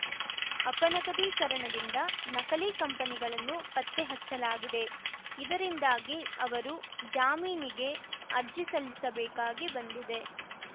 ಅಪನಗದೀಕರಣದಿಂದ ನಕಲಿ ಕಂಪನಿಗಳನ್ನು ಪತ್ತೆ ಹಚ್ಚಲಾಗಿದೆ ಇದರಿಂದಾಗಿ ಅವರು ಜಾಮೀನಿಗೆ ಅರ್ಜಿಸಲ್ಲಿಸಬೇಕಾಗಿ ಬಂದಿದೆ